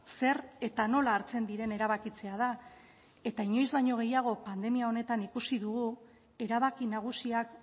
zer eta nola hartzen diren erabakitzea da eta inoiz baino gehiago pandemia honetan ikusi dugu erabaki nagusiak